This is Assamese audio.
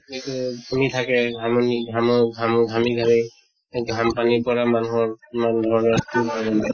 সেইটোয়ে। ঘামি থাকে ঘামনি ঘামৰ ঘামু ঘামি ঘামি সেই ঘাম পানীৰ পৰা মানুহৰ কিমান ধৰণৰ